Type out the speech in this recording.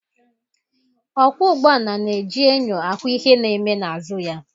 Okwo ụgbọala n'eji enyo ahụ ihe na eme n'azụ ya